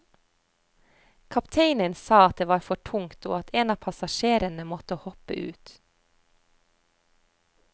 Kapteinen sa at det var for tungt og at en av passasjerene måtte hoppe ut.